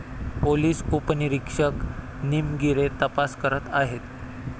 Police उपनिरीक्षक निमगीरे तपास करत आहेत.